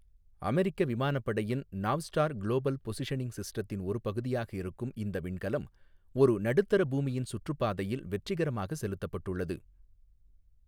அமெரிக்க விமானப்படையின் Navstar global positioning சிஸ்டத்தின் ஒரு பகுதியாக இருக்கும் இந்த விண்கலம், ஒரு நடுத்தர பூமியின் சுற்றுப்பாதையில் வெற்றிகரமாக செலுத்தப்பட்டுள்ளது.